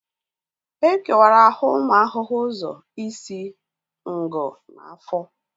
E kewara ahụ ụmụ ahụhụ ụzọ isi, ngụ na afọ